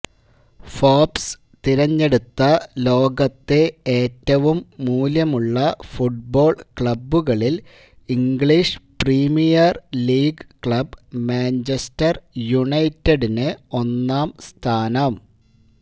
Forbes തെരഞ്ഞെടുത്ത ലോകത്തെ ഏറ്റവും മൂല്യമുള്ള ഫുട്ബോള് ക്ലബ്ബുകളില് English Premier League club Manchester യുണൈറ്റഡിന് ഒന്നാംസ്ഥാനം